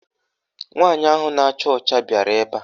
Nwaanyị ahụ na-acha ọcha bịara ebe a.